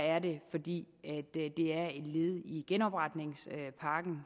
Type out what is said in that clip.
er det fordi det er et led i genopretningspakken